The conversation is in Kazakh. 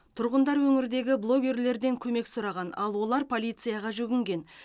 тұрғындар өңірдегі блогерлерден көмек сұраған ал олар полицияға жүгінген